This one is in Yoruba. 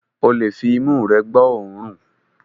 Ó lè fi imú rẹ gbọ́ òórùn